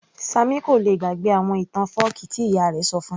Sammy kò lè gbàgbé àwọn ìtàn fọ́ọ̀kí tí ìyá ìyá rẹ̀ ṣọ fún -un